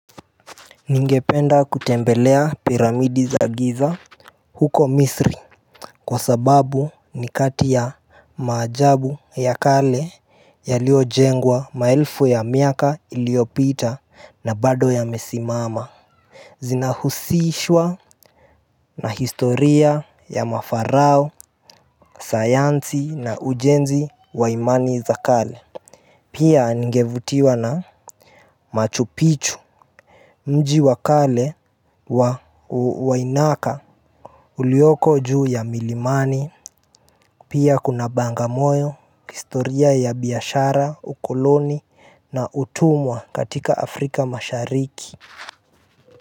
Ningependa kutembelea piramidi za giza huko misri Kwa sababu ni kati ya maajabu ya kale yaliyojengwa maelfu ya miaka iliyopita na bado yamesimama Zinahusishwa na historia ya mafarao sayansi na ujenzi wa imani za kale Pia ningevutiwa na machu pichu Mji wa kale wa wainaka Ulioko juu ya milimani, pia kuna bangamoyo, historia ya biashara, ukoloni na utumwa katika Afrika mashariki.